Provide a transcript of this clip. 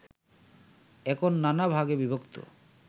এখন নানা ভাগে বিভক্ত